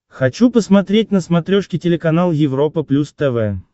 хочу посмотреть на смотрешке телеканал европа плюс тв